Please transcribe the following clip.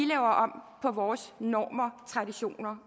laver om på vores normer traditioner